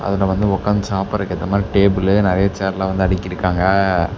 அதுல வந்து ஒக்காந்து சாப்பிடறக்கு ஏத்த மாரி டேபிளு நறையா சேர்லா வந்து அடுக்கிருக்காங்க.